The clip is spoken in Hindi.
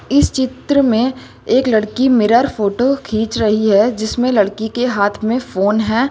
इस चित्र में एक लड़की मिरर फोटो खींच रही है जिसमें लड़की के हाथ में फोन है।